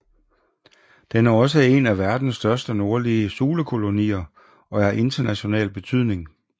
Den er også en af verdens største nordlige sulekolonier og er af international betydning